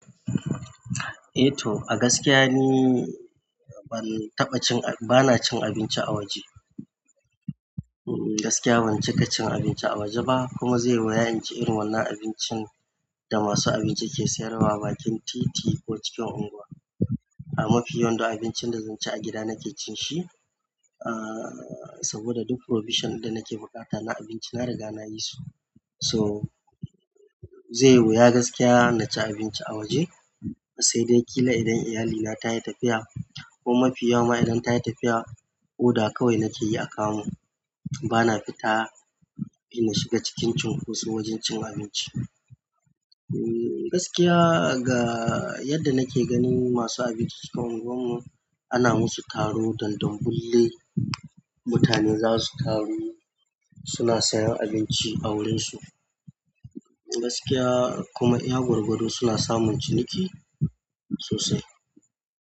Eh to a gaskiya ni ban taɓa cin-- bana cin abinci a waje. A gaskiya ban cika cin abinci a waje ba kuma zai yiwu in ci irin wannan abincin da masu abinci ke sayarwa a bakin titi ko cikin unguwa. A mafi yawan duk abincin da zan ci a gida na ke cin shi, ah saboda duk provision da nake buƙata na abinci na riga na yi su. So zai yiwu ya gaskiya na ci abinci a waje sai dai ƙila idan iyalina ta yi tafiya ko mafi yawa idan ta yi tafiya, order kawai nake yi a kamu. Bana fita in shiga cikin cunkoso wajen cin abinci. Eh gaskiya ga yadda nake gani masu abinci cikin unguwar mu ana musu taro dandam bulle, mutanen za su taru suna sayan abinci a wurin su. Gaskiya kuma iya gwagwado suna samun ciniki sosai.